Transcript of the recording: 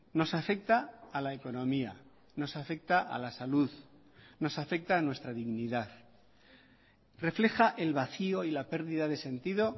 nos afecta a la economía nos afecta a la salud nos afecta a nuestra dignidad refleja el vacío y la pérdida de sentido